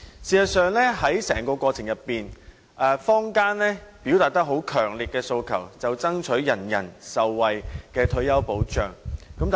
事實上，在整個過程中，坊間最強烈的訴求，便是爭取人人受惠的退休保障。